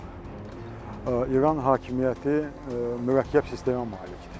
Çünki İran hakimiyyəti mürəkkəb sistemə malikdir.